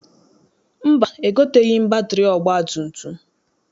Mba, egoteghị m batịrị ọgbatumtum.